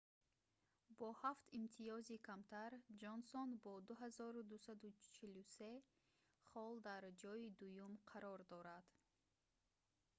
бо ҳафт имтиёзи камтар ҷонсон бо 2,243 хол дар ҷойи дуюм қарор дорад